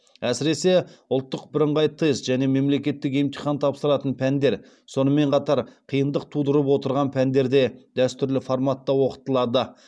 әсіресе ұлттық бірыңғай тест және мемлекеттік емтихан тапсыратын пәндер сонымен қатар қиындық тудырып отырған пәндер де дәстүрлі форматта оқытылады